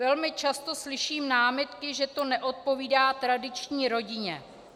Velmi často slyším námitky, že to neodpovídá tradiční rodině.